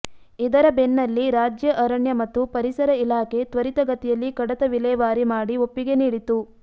ಇದರ ಬೆನ್ನಲ್ಲಿ ರಾಜ್ಯ ಅರಣ್ಯ ಮತ್ತು ಪರಿಸರ ಇಲಾಖೆ ತ್ವರಿತಗತಿಯಲ್ಲಿ ಕಡತ ವಿಲೇವಾರಿ ಮಾಡಿ ಒಪ್ಪಿಗೆ ನೀಡಿತು